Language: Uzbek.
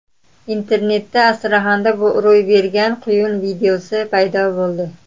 Internetda Astraxanda ro‘y bergan quyun videosi paydo bo‘ldi.